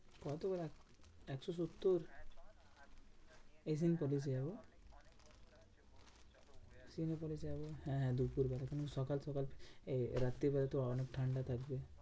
কত আবার? একশো সত্তর। হ্যাঁ হ্যাঁ দুপুরবেলা সকাল সকাল এ রাত্রিবেলা তো অনেক ঠান্ডা থাকবে।